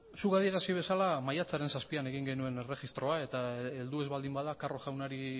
zuk adierazi bezala maiatzaren zazpian egin genuen erregistroa eta heldu ez baldin bada carro jaunari